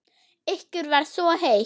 Ykkur var svo heitt.